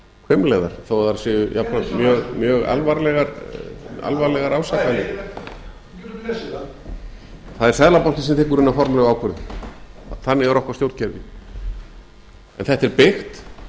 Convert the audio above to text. hvimleiðar þó þær séu jafnframt mjög alvarlegar ásakanir það er seðlabankinn sem tekur hina formlegu ákvörðun þannig er okkar stjórnkerfi en þetta er byggt